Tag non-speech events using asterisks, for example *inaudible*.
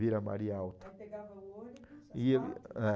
Vila Maria Alta. Aí pegava o ônibus. Ia *unintelligible* é.